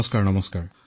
নমস্কাৰ নমস্কাৰ